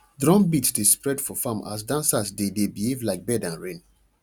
drum beat dey spread for farm as dancers dey dey behave like bird and rain